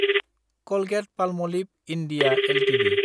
Colgate-Palmolive (India) Ltd